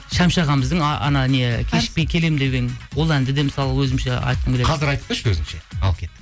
шәмші ағамыздың анау не кешікпей келемін деген ол әнді де мысалы өзімше айтқым келеді қазір айтып берші өзіңше ал кеттік